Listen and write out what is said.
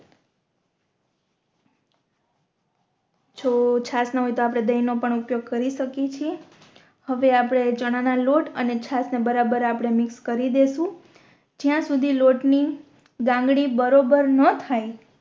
જો છાસ ના હોય તો આપણે દહી નો ઉપયોગ પણ કરી શકિયે છે હવે આપણે ચણા નો લોટ અને છાસ ને બરાબર આપણે મિક્સ કરી દેસું જ્યા સુધી લોટ ની ગાંગરી બરોબર ના થઈ